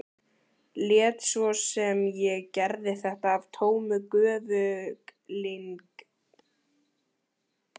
Lét svo sem ég gerði þetta af tómu göfuglyndi.